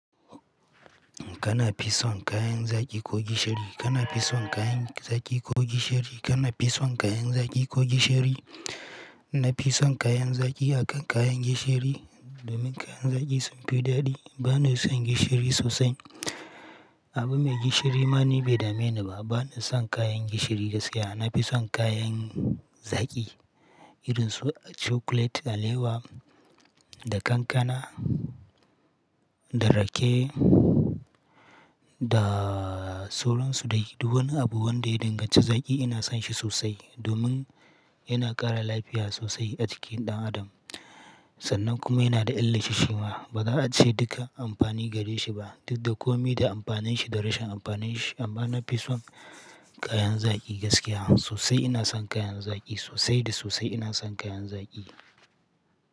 Kana pison kayan zaki ko gishiri? Kana pison kayan zaki ko gishiri? Kana pison kayan zaki ko gishiri? Na pison kayan zaki akan kayan gishiri domin kayan zaki sunfi daɗi. Bana son gishiri sosai. Abu mai gishiri ma ni bai dame ni ba. Bana son kayan gishiri gaskiya. Na pison kayan zaki irin su chocolate alewa da kankana da rake da sauran su day Duk wani abu wanda ya danganci zaki ina son shi sosai domin yana ƙara lafiya sosai a jikin ɗan adam. Sannan kuma yana da illar shima. Ba za a ce duka amfani gare shi ba duk da komi da amfanin shi da rashin amfanin shi. Amma na pison kayan zaki gaskiya sosai ina son kayan zaki sosai da sosai ina son kayan zaki.